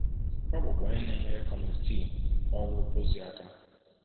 Ọ bụkwa onye na-enyere Kọmitii Ọrụ ozi aka.